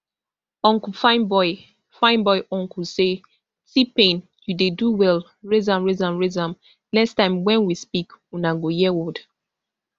unclefineboy fineboyuncle say tpain you dey do well raise am raise am raise am next time wen we speak una go hear word